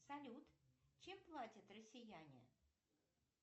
салют чем платят россияне